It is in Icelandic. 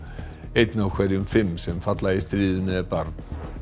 einn af hverjum fimm sem falla í stríðinu er barn